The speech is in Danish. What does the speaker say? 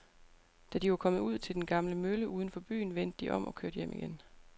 Da de var kommet ud til den gamle mølle uden for byen, vendte de om og kørte hjem igen.